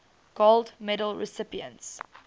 gold medal recipients